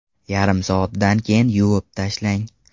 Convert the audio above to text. Yarim soatdan keyin yuvib tashlang.